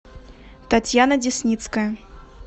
татьяна десницкая